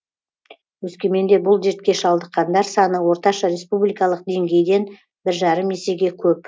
өскеменде бұл дертке шалдыққандар саны орташа республикалық деңгейден бір жарым есеге көп